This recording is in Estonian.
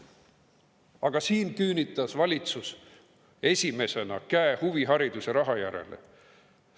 Aga valitsus küünitas esimesena käe huvihariduse raha järele.